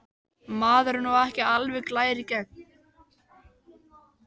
Maður er nú ekki alveg glær í gegn.